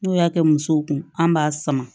N'o y'a kɛ musow kun an b'a sama